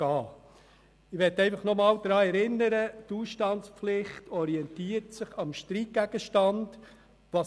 Ich möchte noch einmal daran erinnern, dass sich die Ausstandspflicht am Streitgegenstand orientiert.